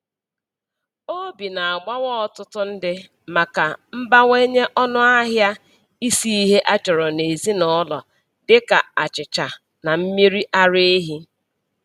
Obi na-agbawa ọtụtụ ndị maka mbawanye ọnụahịa isi ihe a chọrọ n'ezinụlọ dịka achịcha na mmiri ara ehi.